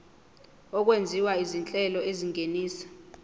okwenziwa izinhlelo ezingenisa